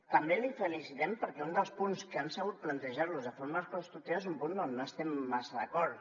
també la felicitem perquè un dels punts que han sabut plantejar nos de forma constructiva és un punt amb què no estem massa d’acord